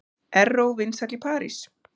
Erró vinsæll í París